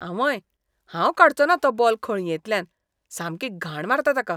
आंवंय, हांव काडचोना तो बॉल खळयेंतल्यान. सामकी घाण मारता ताका.